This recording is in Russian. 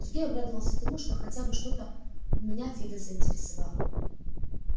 сергей обрадовался тому что хотя бы что-то меня в фидо заинтересовало